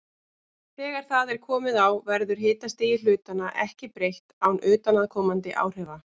Þegar það er komið á verður hitastigi hlutanna ekki breytt án utanaðkomandi áhrifa.